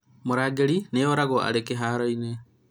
mũrangĩri nĩ oragũo arĩ kĩhaaroinĩ